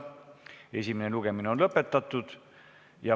Esimene lugemine on lõpetatud.